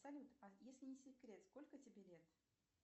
салют а если не секрет сколько тебе лет